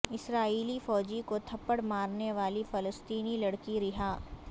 اسرائیلی فوجی کو تھپڑ مارنے والی فلسطینی لڑکی رہا